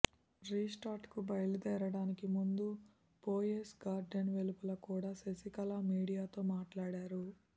రిసార్ట్కు బయలుదేరడానికి ముందు పోయెస్ గార్డెన్ వెలుపల కూడా శశికళ మీడియాతో మాట్లాడారు